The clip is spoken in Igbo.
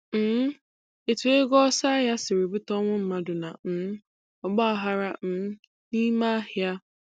um Etu ego ọsọ ahịa siri bute ọnwụ mmadụ na um ọgbaaghara um n'ime ahịa